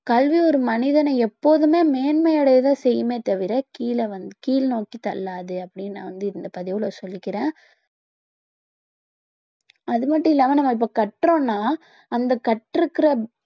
கல்வி ஒரு மனிதனை எப்போதுமே மேன்மை அடைய தான் செய்யுமே தவிர கீழே வந்~ கீழ் நோக்கி தள்ளாது அப்படின்னு நான் வந்து இந்த பதிவுல சொல்லிக்கிறேன் அது மட்டும் இல்லாம நாம இப்ப கற்றோம்னா அந்த கற்று இருக்கிற